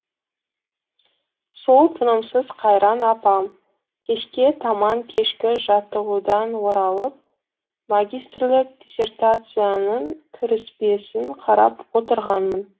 сол тынымсыз қайран апам кешке таман кешкі жаттығудан оралып магистрлік диссертациямның кіріспесін қарап отырғанмын